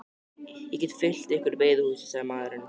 Ég get fylgt ykkur í veiðihúsið, sagði maðurinn.